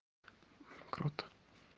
круто